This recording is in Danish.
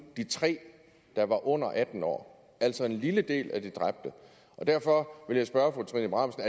tre af dem under atten år altså en lille del af de dræbte derfor vil jeg spørge fru trine bramsen